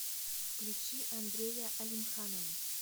включи андрея алимханова